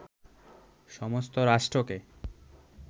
সমস্ত রাষ্ট্রকে